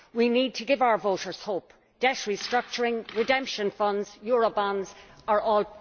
We need to give our voters hope. Debt restructuring, redemption funds, eurobonds are all